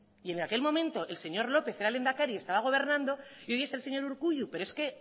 y en aquel momento el señor lópez era lehendakari y estaba gobernando y hoy es el señor urkullu pero es que